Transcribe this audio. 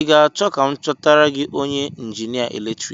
I ga-achọ ka m chọtara gị onye njinia eletrik?